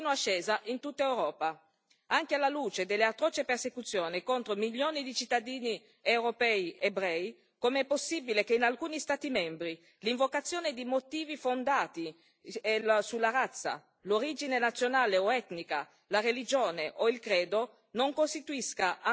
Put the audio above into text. Anche alla luce dell'atroce persecuzione contro milioni di cittadini europei ebrei, com'è possibile che in alcuni Stati membri l'invocazione di motivi fondati sulla razza, l'origine nazionale o etnica, la religione o il credo non costituisca ancora un'aggravante di reato?